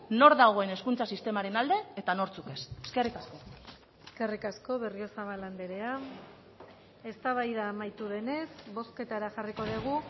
nor dagoen hezkuntza sistemaren alde eta nortzuk ez eskerrik asko eskerrik asko berriozabal andrea eztabaida amaitu denez bozketara jarriko dugu